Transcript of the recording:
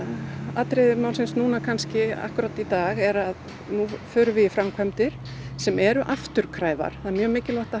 aðalatriði málsins akkúrat í dag er að nú förum við í framkvæmdir sem eru afturkræfar það er mjög mikilvægt að